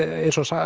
eins og